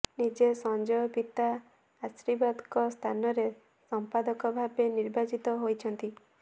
ନିଜେ ସଞ୍ଜୟ ପିତା ଆଶୀର୍ବାଦଙ୍କ ସ୍ଥାନରେ ସମ୍ପାଦକ ଭାବେ ନିର୍ବାଚିତ ହୋଇଛନ୍ତି